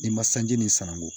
Ni ma sanji nin sananko